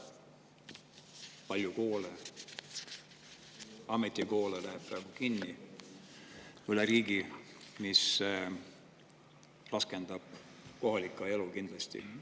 Palju koole, ka ametikoole läheb kinni üle riigi ja see raskendab kohalikku elu kindlasti.